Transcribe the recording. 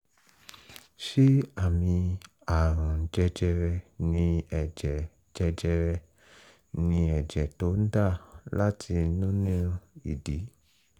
ṣé àmì àrùn jẹjẹrẹ ni ẹ̀jẹ̀ jẹjẹrẹ ni ẹ̀jẹ̀ tó ń dà láti nínú ìdí?